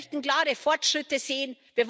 Wir möchten klare Fortschritte sehen.